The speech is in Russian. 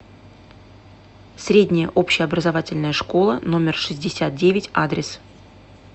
средняя общеобразовательная школа номер шестьдесят девять адрес